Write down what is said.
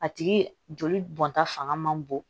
A tigi joli bɔnta fanga man bon